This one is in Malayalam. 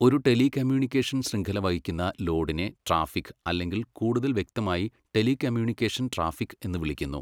ഒരു ടെലികമ്മ്യൂണിക്കേഷൻ ശൃംഖല വഹിക്കുന്ന ലോഡിനെ ട്രാഫിക്, അല്ലെങ്കിൽ കൂടുതൽ വ്യക്തമായി ടെലികമ്മ്യൂണിക്കേഷൻ ട്രാഫിക് എന്ന് വിളിക്കുന്നു.